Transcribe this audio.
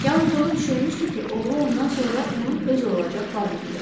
Yalnız onu düşünmüşdü ki, oğlu ondan sonra onun öz olacaq varlıqdır.